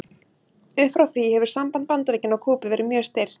Upp frá því hefur samband Bandaríkjanna og Kúbu verið mjög stirt.